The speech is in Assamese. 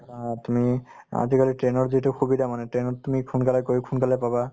বা তুমি অ আজিকালি train ৰ যিটো সুবিধা মানে train ত তুমি সোনকালে গৈ সোনকালে পাবা